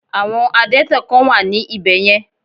Àwọn Adẹ́tẹ̀ kán wà ní ibè yen